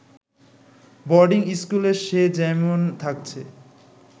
বোর্ডি স্কুলে সে যেমন থাকছে